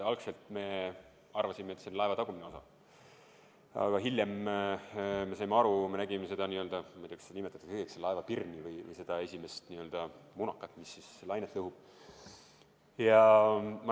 Algselt me arvasime, et see on laeva tagumine osa, aga hiljem saime aru, et me nägime seda – ma ei tea, kuidas seda nimetatakse – laeva pirni või seda esimest munakat, mis lainet lõhub.